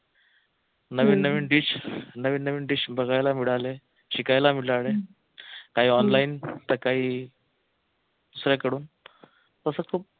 नवीन नवीन dish नवीन नवीन dish बघायला मिळाले शिकायला मिळाले काही online तर काही दुसऱ्यांकडून तस खूप